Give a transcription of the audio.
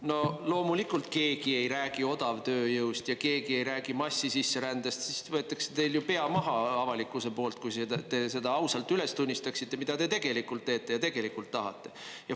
No loomulikult keegi ei räägi odavtööjõust ja keegi ei räägi massisisserändest, sest siis võetaks teil ju pea maha avalikkuse poolt, kui te seda ausalt üles tunnistaksite, mida te tegelikult teete ja tegelikult tahate.